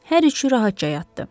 Hər üçü rahatca yatdı.